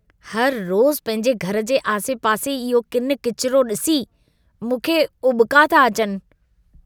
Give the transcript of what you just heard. हर रोज़ पंहिंजे घर जे आसे-पासे इहो किनि-किचिरो ॾिसी, मूंखे उॿका था अचनि।